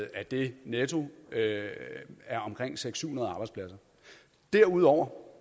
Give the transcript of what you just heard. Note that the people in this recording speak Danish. at det netto er omkring seks hundrede nul arbejdspladser derudover